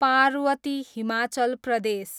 Parvati, Himachal Pradesh